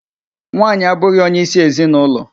Nwaanyị abụghị onyeisi ezinụlọ.